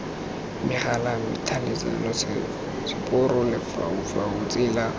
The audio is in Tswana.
megala tlhaeletsano seporo lefaufau tsela